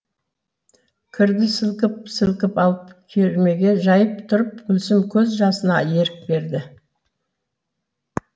кірді сілкіп сілкіп алып кермеге жайып тұрып гүлсім көз жасына ерік берді